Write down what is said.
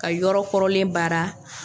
Ka yɔrɔ kɔrɔlen baara.